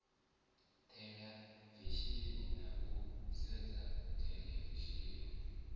theḽevishini na u sedza theḽevishini